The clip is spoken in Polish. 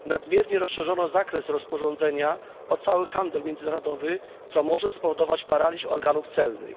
nadmiernie rozszerzono zakres rozporządzenia o cały handel międzynarodowy, co może spowodować paraliż organów celnych.